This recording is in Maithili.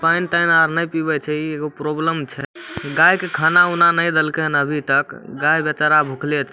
पेएन तेन आर नए पीबे छै इ एगो प्रॉब्लम छै गाय के खाना ऊना नै देल के हेन अभी तक गाय बेचरा भुखले छै।